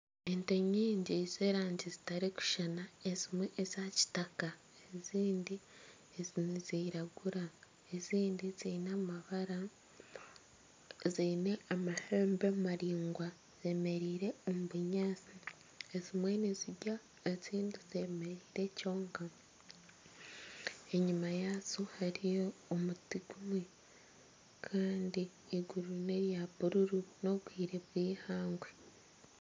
Ente nyingi z'erangi zitarikushushana ezimwe eza kitaka ezindi ezindi niziragura ezindi ziine amabara ziine amahembe maringwa zemereire omu bunyaantsi ezimwe nizirya ezindi zemereire kwonka enyima yazo hariyo omuti gumwe Kandi eiguru nerya bururu n'obwire bweihangwe.